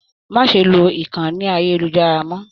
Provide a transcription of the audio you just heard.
Má ṣe lo ìkànnì ayelujara mọ!.